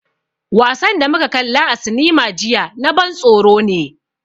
Wasan da muka kalla a cinema jiya na ban tsoro ne.